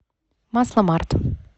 масломарт